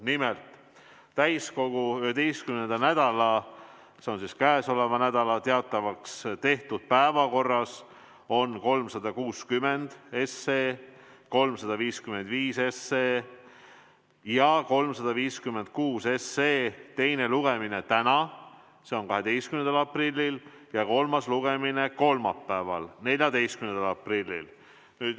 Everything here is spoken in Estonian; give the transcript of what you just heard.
Nimelt, täiskogu 11. nädala, see on käesoleva nädala teatavaks tehtud päevakorras on 360 SE, 355 SE ja 356 SE teine lugemine täna, see on 12. aprillil ja kolmas lugemine kolmapäeval, 14. aprillil.